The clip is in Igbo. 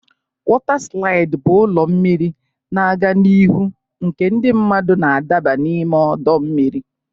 Waterslide bụ ụlọ mmiri na-aga n'ihu nke ndị mmadụ na-adaba n'ime ọdọ mmiri.